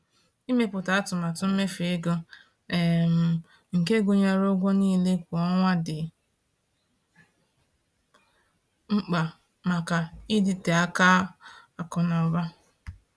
Ịmepụta atụmatụ mmefu ego um nke gụnyere ụgwọ niile kwa ọnwa dị mkpa maka ịdịte aka akụ na ụba.